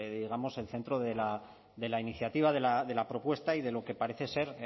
digamos el centro de la iniciativa de la propuesta y de lo que parece ser